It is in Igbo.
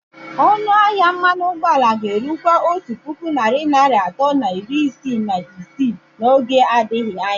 Ọnụ ahịa mmanụ ụgbọala ga-erukwa otu puku narị naira atọ na iri isii na isii n'oge adịghị anya.